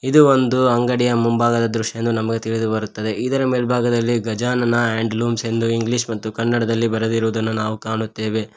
ಇದು ಒಂದು ಅಂಗಡಿಯ ಮುಂಭಾಗದ ದೃಶ್ಯ ಎಂದು ನಮಗೆ ತಿಳಿದು ಬರುತ್ತದೆ ಇದರ ಮೇಲ್ಬಾಗದಲ್ಲಿ ಗಜಾನನ ಹಾಂಡ್ ಲೂಮ್ಸ್ ಎಂದು ಇಂಗ್ಲಿಷ್ ಮತ್ತು ಕನ್ನಡದಲ್ಲಿ ಬರೆದಿರುದನ್ನ ನಾವು ಕಾಣುತ್ತೇವೆ.